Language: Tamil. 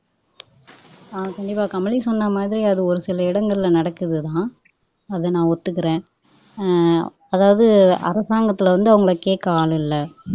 ஹம் கண்டிப்பா கமலி சொன்னமாதிரி அது ஒரு சில இடங்கள்ல நடக்குதுதான் அதை நான் ஒத்துக்கிறேன் அஹ் அதாவது அரசாங்கத்துல வந்து அவங்களை கேக்க ஆள் இல்லை